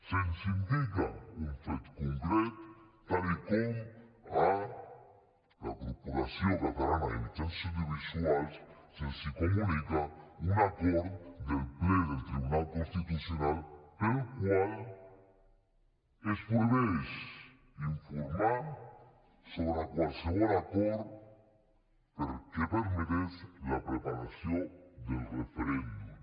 se’ns indica un fet concret com ara que a la corporació catalana de mitjans audiovisuals se’ls comunica un acord del ple del tribunal constitucional pel qual es prohibeix informar sobre qualsevol acord que permetés la preparació del referèndum